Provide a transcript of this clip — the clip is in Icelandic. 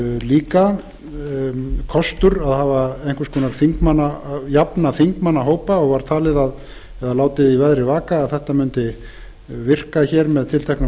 líka kostur að jafna þingmannahópa og var látið í veðri vaka að það mundi virka hér með tilteknum